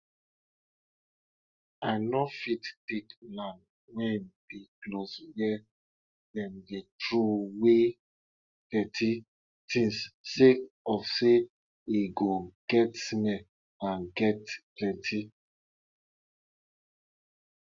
we hear story say some children dey children dey plant their dreams with every step wey um dem take for dry ground um